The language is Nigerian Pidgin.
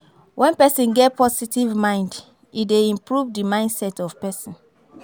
When person get positive mind e dey improve di mindset of person